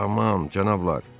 Aman, cənablar!